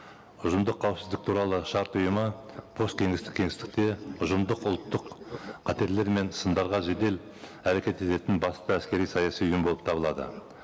ұжымдық қауіпсіздік туралы шарт ұйымы посткеңестік кеңістікте ұжымдық ұлттық қатерлер мен сындарға жедел әрекет ететін басты әскери саяси ұйым болып табылады